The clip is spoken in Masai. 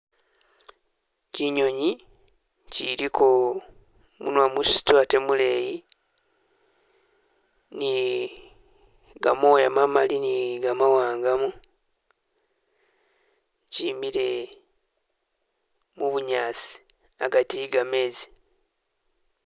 Kyinyonyi kyiliko munwa musito ate muleyi ni gamoya mamali ni gamawangamu kyimile mu bunyaasi agati i'gamezi